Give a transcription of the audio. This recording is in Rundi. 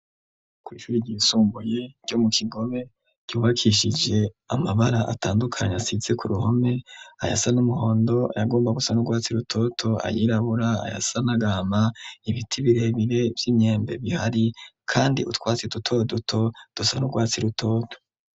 Ku icuri ryisumbuye ryo mu kigobe ryubakishije amabara atandukanyi asize ku ruhome ayasa n'umuhondo yagomba gusan'urwatsi rutoto ayirabura ayasan'agama ibiti birebire vy'imyembe bihari, kandi utwatsi duto duto dusan'urwatsi rutoto.